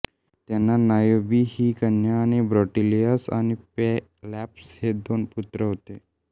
त्यांना नायोबी ही कन्या आणि ब्रॉटियास आणि पेलॉप्स हे दोन पुत्र होते